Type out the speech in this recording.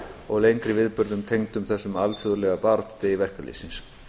og lengri viðburðum tengdum þessum alþjóðlega baráttudegi verkalýðsins